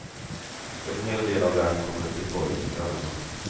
En hel del av dem kommer till torget på kvällarna.